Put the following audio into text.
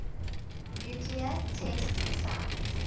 nuclear test sites